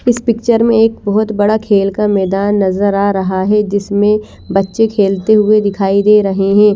इस पिक्चर में एक बहुत बड़ा खेल का मैदान नज़र आ रहा है जिसमें बच्चे खेलते हुए दिखाई दे रहे हैं।